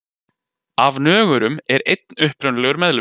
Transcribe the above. Af nögurum er einn upprunalegur meðlimur.